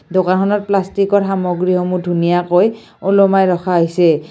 দোকান খনত প্লাষ্টিক ৰ সামগ্ৰী সমূহ ধুনীয়াকৈ ওলমাই ৰখা হৈছে।